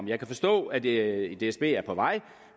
jeg kan forstå at dsb er på vej